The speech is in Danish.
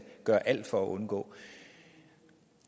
gøre alt for at undgå